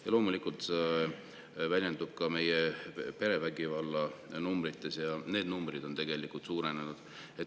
Ja loomulikult see väljendub ka meie perevägivalla numbrites: need numbrid on tegelikult suurenenud.